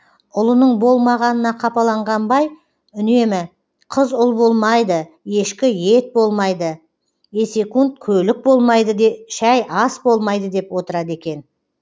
ұлының болмағанына қапаланған бай үнемі қыз ұл болмайды ешкі ет болмайды есекунд көлік болмайды де шәй ас болмайды де деп отырады екен